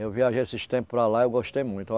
Eu viajei esses tempos para lá e eu gostei muito.